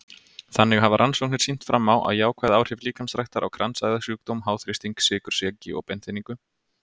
Þannig hafa rannsóknir sýnt fram á jákvæð áhrif líkamsræktar á kransæðasjúkdóm, háþrýsting, sykursýki og beinþynningu.